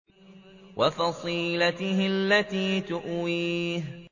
وَفَصِيلَتِهِ الَّتِي تُؤْوِيهِ